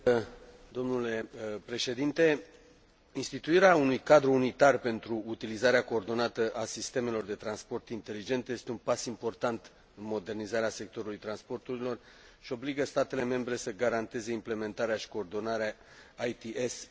Instituirea unui cadru unitar pentru utilizarea coordonată a sistemelor de transport inteligente este un pas important în modernizarea sectorului transporturilor și obligă statele membre să garanteze implementarea și coordonarea ITS în manieră interoperabilă.